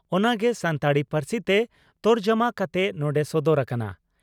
ᱚᱱᱟ ᱜᱮ ᱥᱟᱱᱛᱟᱲᱤ ᱯᱟᱹᱨᱥᱤᱛᱮ ᱛᱚᱨᱡᱚᱢᱟ ᱠᱟᱛᱮ ᱱᱚᱰᱮ ᱥᱚᱫᱚᱨ ᱟᱠᱟᱱᱟ ᱾